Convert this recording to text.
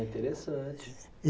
interessante.